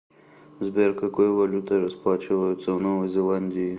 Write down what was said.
сбер какой валютой расплачиваются в новой зеландии